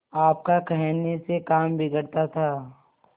आपका कहने से काम बिगड़ता था